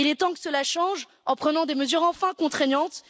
Il est temps que cela change, en prenant des mesures enfin contraignantes.